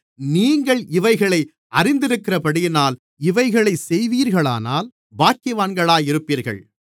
நீங்கள் இவைகளை அறிந்திருக்கிறபடியினால் இவைகளைச் செய்வீர்களானால் பாக்கியவான்களாக இருப்பீர்கள்